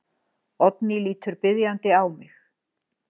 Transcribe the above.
Oddný lítur biðjandi á mig.